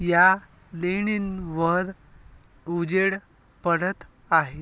या लेणींवर उजेड पडत आहे.